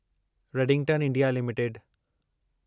Redington India limited